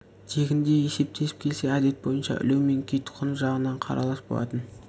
тегінде есептесіп келсе әдет бойынша ілу мен кит құн жағынан қаралас болатын